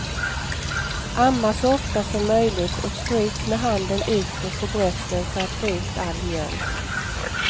Amma så ofta som möjligt och stryk med handen utåt på brösten för att få ut all mjölk.